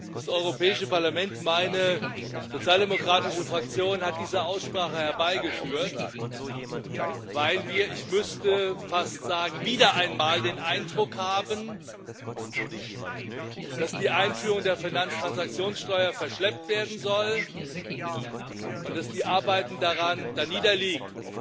Das Europäische Parlament, meine Sozialdemokratische Fraktion, hat diese Aussprache herbeigeführt, weil wir ich müsste fast sagen wieder einmal den Eindruck haben, dass die Einführung der Finanztransaktionssteuer verschleppt werden soll und dass die Arbeiten daran darniederliegen.